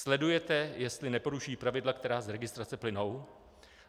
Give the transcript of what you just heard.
Sledujete, jestli neporušují pravidla, která z registrace plynou?